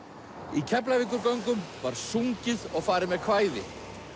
í Keflavíkurgöngum var sungið og farið með kvæði